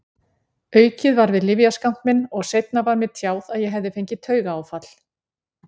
Aukið var við lyfjaskammt minn og seinna var mér tjáð að ég hefði fengið taugaáfall.